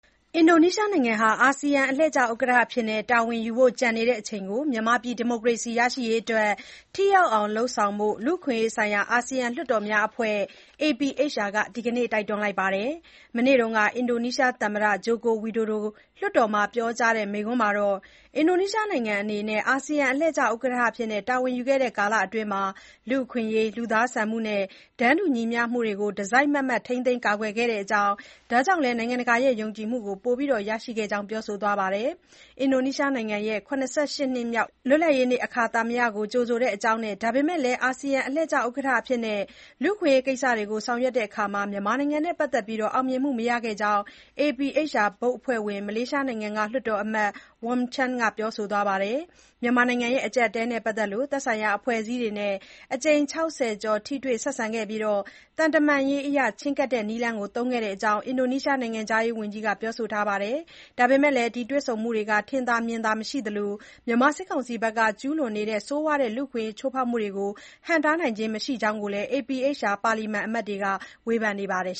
အင်ဒိုနီးရှားနိုင်ငံဟာ အာဆီယံ အလှည့်ကျ ဥက္ကဋ္ဌအဖြစ် တာဝန်ယူဖို့ ကျန်နေတဲ့ အချိန်ကို မြန်မာပြည် ဒီမိုကရေစီရေးအတွက် ထိရောက်အောင် လုပ်ဆောင်ဖို့ လူ့အခွင့်အရေးဆိုင်ရာ အာဆီယံလွှတ်တော်အမတ်များအဖွဲ့ (APHR) က ဒီကနေ့ တိုက်တွန်းလိုက်ပါတယ်။ မနေ့က အင်ဒီုနီးရှား သမ္မတ Joko Widodo လွှတ်တော်မှာ ပြောကြားတဲ့ မိန့်ခွန်းမှာ အင်ဒီုနီးရှားနိုင်ငံအနေနဲ့ အာဆီယံ အလှည့်ကျ ဥက္ကဋ္ဌအဖြစ် တာဝန်ယူခဲ့တဲ့ကာလအတွင်း လူ့အခွင့်အရေး၊ လူသားဆန်မှုနဲ့ တန်းတူညီမျှမှုတွေကို တစိုက်မတ်မတ် ထိန်းသိမ်း ကာကွယ်ခဲ့တဲ့အကြောင်းနဲ့ ဒါကြောင့်လည်း နိုင်ငံတကာရဲ့ ယုံကြည်မှုကို ပိုမို ရရှိခဲ့တဲ့အကြောင်း ပြောဆိုသွားပါတယ်။ အင်ဒိုနီးရှားနိုင်ငံရဲ့ ၇၈ နှစ်မြောက် လွတ်လပ်ရေးနေ့ အခါသမယကို ကြိုဆိုတဲ့အကြောင်းနဲ့ ဒါပေမဲ့လည်း အာဆီယံ အလှည့်ကျ ဥက္ကဋ္ဌအဖြစ် လူ့အခွင့်အရေးကိစ္စတွေကို ဆောင်ရွက်ရာမှာ မြန်မာနိုင်ငံနဲ့ ပတ်သက်ပြီး အောင်မြင်မှု မရခဲ့တဲ့အကြောင်း APHR ဘုတ်အဖွဲ့ဝင် မလေးရှားနိုင်ငံက လွှတ်တော်အမတ် Wong Chen က ပြောဆိုသွားပါတယ်။ မြန်မာနိုင်ငံ အကျပ်အတည်းနဲ့ ပတ်သက်လို့ သက်ဆိုင်ရာ အဖွဲ့အစည်းတွေနဲ့ အကြိမ် ၆၀ ကျော် ထိတွေ့ဆက်ဆံခဲ့ပြီး သံတမန်ရေးအရ ချဉ်းကပ်တဲ့ နည်းလမ်းကို သုံးခဲ့တဲ့အကြောင်း အင်ဒိုနီးရှား နိုင်ငံခြားရေးဝန်ကြီး Retno Marsudi က ပြောဆိုထားပါတယ်။ ဒါပေမဲ့လည်း ဒီတွေ့ဆုံမှုတွေဟာ ထင်သာမြင်သာမှု မရှိသလို မြန်မာစစ်ကောင်စီဘက်က ကျုးလွန်နေတဲ့ ဆိုးဝါးတဲ့ လူ့အခွင့်အရေး ချိုးဖေါက်မှုတွေကို ဟန့်တားနိုင်ခြင်း မရှိတဲ့အကြောင်း APHR ပါလီမန်အမတ်တွေက ဝေဖန်ပါတယ်